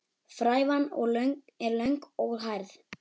Frævan er löng og hærð.